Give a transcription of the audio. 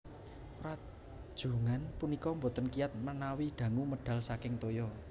Rajungan punika boten kiyat menawi dangu medal saking toya